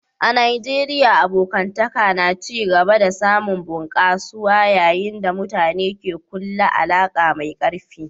A Najeriya, abokantaka na ci gaba da samun bunƙasuwa yayin da mutane ke kulla alaka mai karfi.